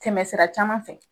Tɛmɛ sira caman fɛ.